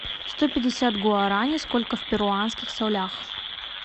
сто пятьдесят гуарани сколько в перуанских солях